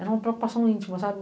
Era uma preocupação íntima, sabe?